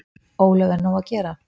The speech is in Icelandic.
Ólöf: Er nóg að gera?